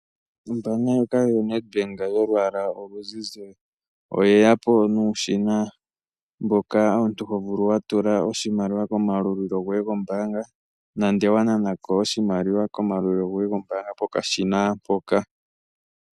Ombanga ndjoka yoNedbank yolwaala oluzizi oyeya po nuushina mboka omuntu hovulu watula oshimaliwa komayalulilo goye gombaanga nande wananako oshimaliwa komayalulilo goye gombaanga kokashina hoka.